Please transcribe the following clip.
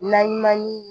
Naɲuman ni